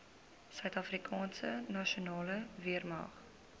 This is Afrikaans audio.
suidafrikaanse nasionale weermag